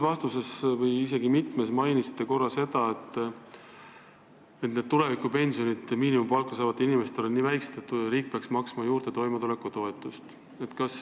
Oma ühes või isegi mitmes vastuses te mainisite, et tulevikupensionid on miinimumpalka saavatel inimestel nii väiksed, et riik peaks neile toimetulekutoetust juurde maksma.